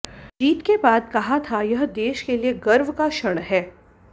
जीत के बाद कहा था यह देश के लिए गर्व का क्षण है